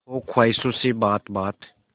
हो ख्वाहिशों से बात बात